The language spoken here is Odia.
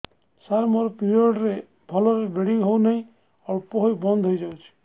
ସାର ମୋର ପିରିଅଡ଼ ରେ ଭଲରେ ବ୍ଲିଡ଼ିଙ୍ଗ ହଉନାହିଁ ଅଳ୍ପ ହୋଇ ବନ୍ଦ ହୋଇଯାଉଛି